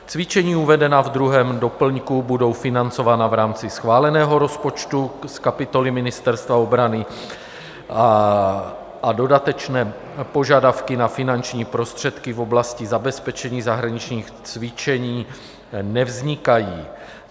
Cvičení uvedená ve 2. doplňku budou financována v rámci schváleného rozpočtu z kapitoly Ministerstva obrany a dodatečné požadavky na finanční prostředky v oblasti zabezpečení zahraničních cvičení nevznikají.